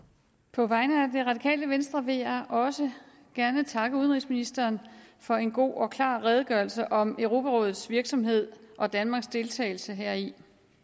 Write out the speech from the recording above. på vegne af radikale venstre vil jeg også gerne takke udenrigsministeren for en god og klar redegørelse om europarådets virksomhed og danmarks deltagelse heri i